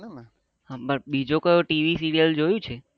બસ બીજો કયો TV serial જોયું છે